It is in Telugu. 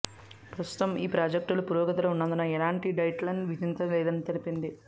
ప్రస్తుతం ఈ ప్రాజెక్టులు పురోగతిలో ఉన్నందున ఎలాంటి డెడ్లైన్ విధించలేదని తెలిపింది